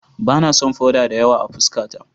Ba na son foda da yawa a fuskata.